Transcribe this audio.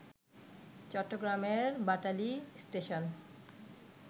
চট্টগ্রামের বাটালি স্টেশন